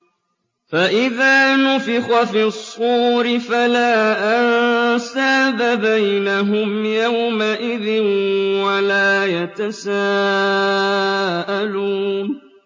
فَإِذَا نُفِخَ فِي الصُّورِ فَلَا أَنسَابَ بَيْنَهُمْ يَوْمَئِذٍ وَلَا يَتَسَاءَلُونَ